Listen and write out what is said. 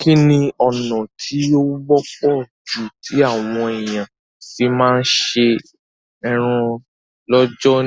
Kíni ọ̀nà ti o wọ́pọ̀ ju ti àwon èyàn fi ma se eran lọ́jọ̀